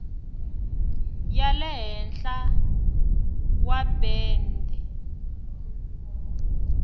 ya le henhla wa bende